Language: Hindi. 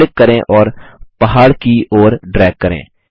अब क्लिक करें और पहाड़ की ओर ड्रैग करें